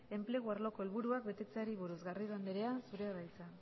enplegu arloko helburuak betetzeari buruz garrido anderea zurea da hitza